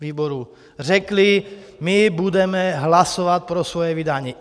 Řekli: my budeme hlasovat pro svoje vydání.